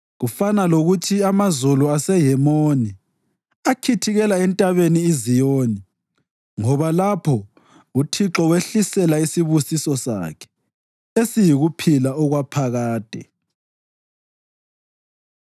Kufana lokuthi amazolo aseHemoni akhithikela eNtabeni iZiyoni. Ngoba lapho uThixo wehlisela isibusiso sakhe, esiyikuphila okwaphakade.